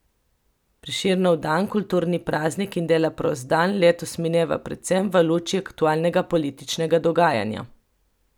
Prešernov dan, kulturni praznik in dela prost dan, letos mineva predvsem v luči aktualnega političnega dogajanja.